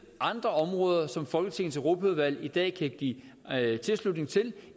andre områder som folketingets europaudvalg i dag kan give tilslutning til